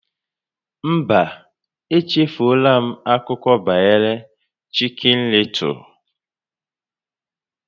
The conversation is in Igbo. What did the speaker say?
Mba, echefuola m akụkọ banyere Chicken Little